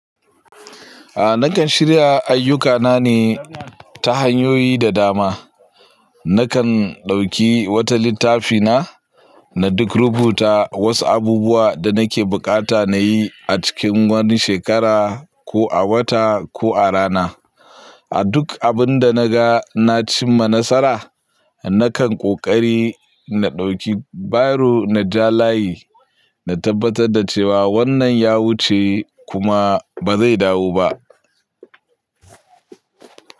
A nakan shirya ayyukana ne ta hanyoyi da dama. Nakan ɗauki wata littafi na, na duk rubuta wasu abubuwa da nake bukata na yi a cikin wani shekara ko a wata ko a rana. A duk abin da naga na cimma nasara, nakan ƙoƙari na ɗauki biro na ja layi na tabbatar da cewa wannan ya wuce kuma ba zai dawo ba.